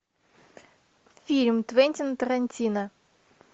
фильм квентина тарантино